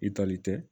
I tali tɛ